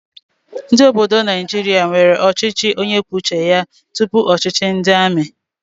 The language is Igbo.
Ndị obodo Naijiria nwere ọchịchị onye kwuo uche ya tupu ọchịchị ndị amị